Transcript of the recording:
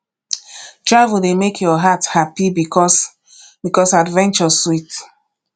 travel dey make your heart hapi because because adventure sweet